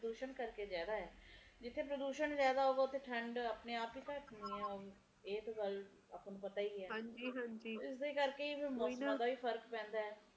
ਪ੍ਰਦੂਸ਼ਣ ਕਰਕੇ ਜ਼ਿਆਦਾ ਹੈ ਜਿਥੇ ਪ੍ਰਦੂਸ਼ਣ ਜ਼ਿਆਦਾ ਹੈ ਓਥੇ ਠੰਡ ਆਪੇ ਆਪ ਹੀ ਘਟ ਜਾਂਦੀ ਐ ਇਹ ਤਾ ਗੱਲ ਆਪਾ ਨੂੰ ਪਤਾ ਹੀ ਹੈ ਹਾਂਜੀ ਹਾਂਜੀ ਇਸਦੇ ਕਰਕੇ ਮੌਸਮ ਦਾ ਵੀ ਫਰਕ ਪੈਂਦਾ ਹੈ